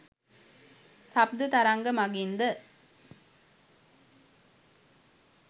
ශබ්ද තරංග මඟින් ද